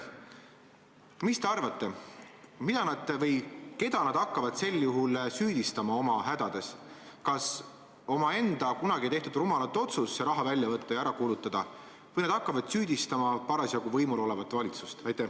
Mis te arvate, mida või keda nad hakkavad sel juhul süüdistama oma hädades: kas omaenda kunagi tehtud rumalat otsust see raha välja võtta ja ära kulutada või nad hakkavad süüdistama parasjagu võimul olevat valitsust?